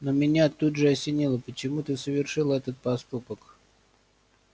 но меня тут же осенило почему ты совершил этот поступок